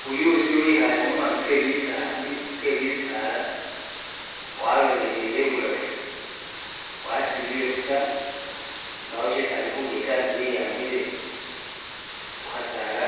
Buyuusi wikhale mumaru ke bisa ke bisaala walolelele ibulafu, wasilile busa mbawo shisi ali khulya ta ne wiyambile khu khasaala